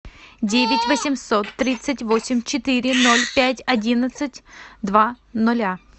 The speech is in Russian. девять восемьсот тридцать восемь четыре ноль пять одиннадцать два ноля